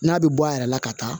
N'a bɛ bɔ a yɛrɛ la ka taa